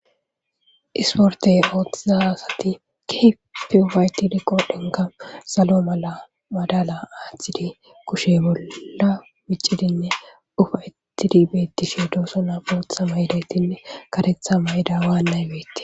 isporte ooththiza asati keeefi ufaytidi qodhenka salo mala madala aaththidi kushe bolla micidinne ufaytidi beettishe doosonabootha maydayttinne katetha mayda waa naybetti